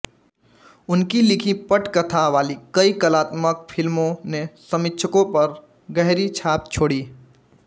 उनकी लिखी पटकथा वाली कई कलात्मक फ़िल्मों ने समीक्षकों पर गहरी छाप छोड़ी